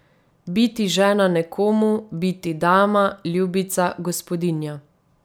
Biti žena nekomu, biti dama, ljubica, gospodinja.